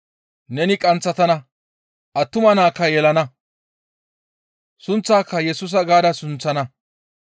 Neni qanththatana; attuma naakka yelana; sunththaaka Yesusa gaada sunththana.